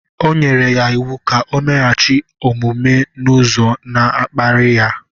O nyere ya iwu ka o meghachi omume n’ụzọ na-akparị ya